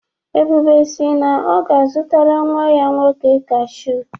Ebube si na ọ ga-azụtara nnwa ya nwoke kashụ.